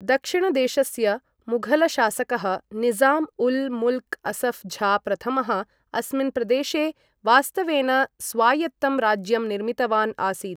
दक्षिणदेशस्य मुघल शासकः निज़ाम् उल् मुल्क् असफ् झा प्रथमः, अस्मिन् प्रदेशे वास्तवेन स्वायत्तं राज्यं निर्मितवान् आसीत्।